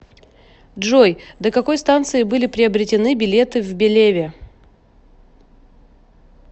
джой до какой станции были приобретены билеты в белеве